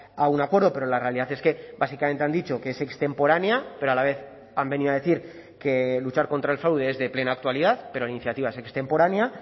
a un acuerdo pero la realidad es que básicamente han dicho que es extemporánea pero a la vez han venido a decir que luchar contra el fraude es de plena actualidad pero la iniciativa es extemporánea